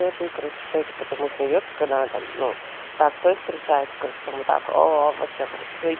короче все это потом узнается канада но простой встречается короче там так вообще